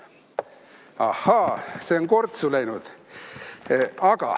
Ahaa, see on kortsu läinud.